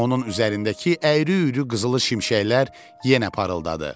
Onun üzərindəki əyri-üyrü qızılı şimşəklər yenə parıldadı.